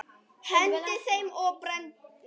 Hendi þeim og brenni.